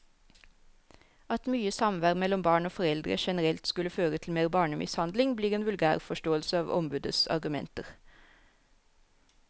At mye samvær mellom barn og foreldre generelt skulle føre til mer barnemishandling, blir en vulgærforståelse av ombudets argumenter.